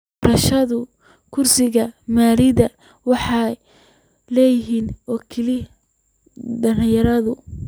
Doorashada kursiga maayaradu waxay leeyihiin oo kaliya dhalinyarada.